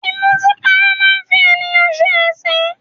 Ìmutípara máa ń fi ènìyàn ṣe ẹ̀sín